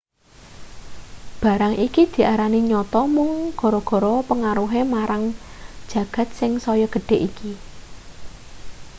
barang iki diarani nyata mung gara-gara pengaruhe marang jagat sing saya gedhe iki